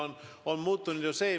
Mis on muutunud?